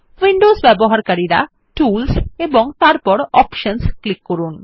Windows ব্যবহারকারীরা tools এবং তারপর অপশনস ক্লিক করুন